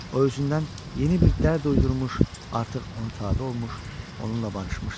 O özündən yeni bir dərd uydurmuş, artıq ona tabe olmuş, onunla barışmışdı.